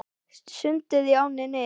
Sundið í ánni Nið